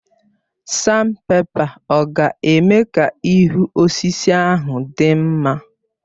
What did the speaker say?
Sanpèpa ọ̀ ga-eme ka ihu osisi ahụ dị mma?